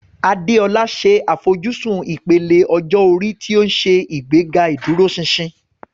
Adeola ṣe àfojúsùn ìpele ọjọ́ orí tí ó ń ṣe ìgbéga ìdúróṣinṣin.